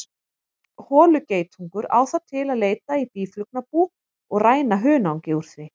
Holugeitungur á það til að leita í býflugnabú og ræna hunangi úr því.